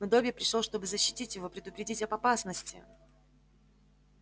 но добби пришёл чтобы защитить его предупредить об опасности